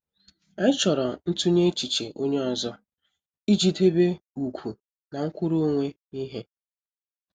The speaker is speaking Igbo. Anyị chọrọ ntunye echiche onye ọzọ ị ji debe ugwu na nkwuru onwe ihe.